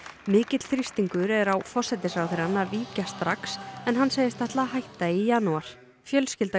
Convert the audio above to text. mikill þrýstingur er á forsætisráðherrann að víkja strax en hann segist ætla að hætta í janúar fjölskylda